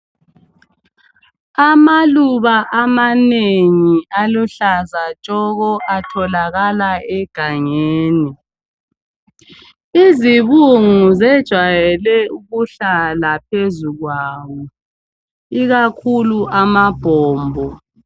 Amaluba amanengi aluhlaza atholakala egangeni. Izibungu zejwajayele ukuhlala phezu kwawo ikakhulu amabhombo.